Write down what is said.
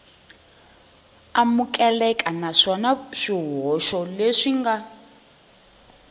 amukeleka naswona swihoxo leswi nga